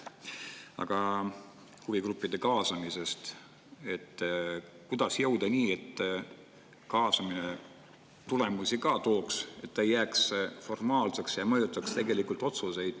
Aga huvigruppide kaasamise kohta, kuidas jõuda selleni, et kaasamine tulemusi ka tooks, et ta ei jääks formaalseks ja mõjutaks tegelikult otsuseid.